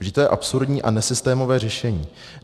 Vždyť to je absurdní a nesystémové řešení.